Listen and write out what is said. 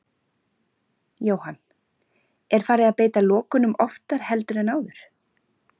Jóhann: Er farið að beita lokunum oftar heldur en áður?